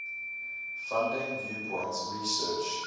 funding viewpoints research